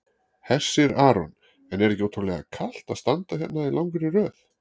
Hersir Aron: En er ekki ótrúlega kalt að standa hérna í langri röð?